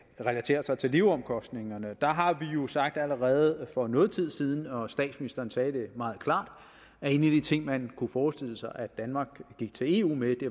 relaterer sig til leveomkostningerne der har vi jo sagt allerede for noget tid siden og statsministeren sagde det meget klart at en af de ting man kunne forestille sig at danmark gik til eu med